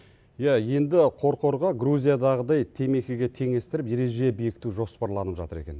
иә енді қорқорға грузиядағыдай темекіге теңестіріп ереже бекіту жоспарланып жатыр екен